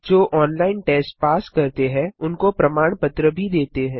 जो online test pass करते हैं उनको प्रमाण पत्र भी देते हैं